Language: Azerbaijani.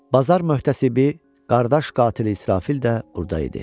Bazar möhtəsibi qardaş qatili İsrafil də burda idi.